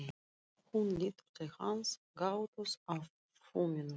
Hún lítur til hans, gáttuð á fuminu.